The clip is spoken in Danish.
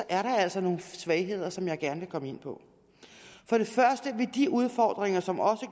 er der altså nogle svagheder som jeg gerne vil komme ind på for det første vil de udfordringer som